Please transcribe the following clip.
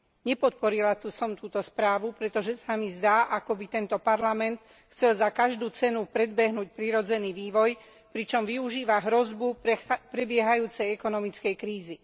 Nepodporila som túto správu, pretože sa mi zdá, akoby tento Parlament chcel za každú cenu predbehnúť prirodzený vývoj, pričom využíva hrozbu prebiehajúcej ekonomickej krízy.